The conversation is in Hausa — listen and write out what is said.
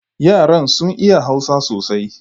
Yaran sun iya Hausa sosai